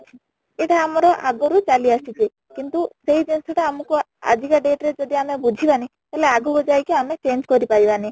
ଏଇଟା ଆମର ଆଗରୁ ଚାଲି ଆସିଛି କିନ୍ତୁ ସେଇ ଜିନିଷ ତା ଆମକୁ ଆଜି କା date ରେ ଯଦି ଆମେ ବୁଝିବାନି ତାହେଲେ ଆଗକୁ ଯାଇକି ଆମେ change କରି ପାରିବାନି